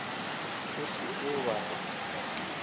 o se ke wa re